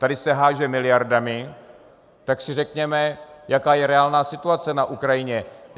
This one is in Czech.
Tady se háže miliardami, tak si řekněme, jaká je reálná situace na Ukrajině.